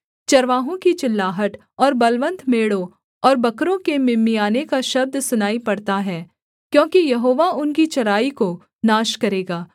चरवाहों की चिल्लाहट और बलवन्त मेढ़ों और बकरों के मिमियाने का शब्द सुनाई पड़ता है क्योंकि यहोवा उनकी चराई को नाश करेगा